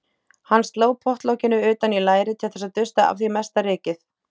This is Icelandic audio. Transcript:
Hann sló pottlokinu utan í lærið til þess að dusta af því mesta rykið.